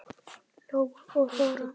Lóa og Þóra.